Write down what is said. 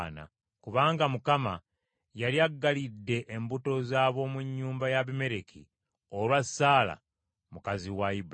Kubanga Mukama yali aggalidde embuto z’ab’omu nnyumba y’Abimereki olwa Saala mukazi wa Ibulayimu.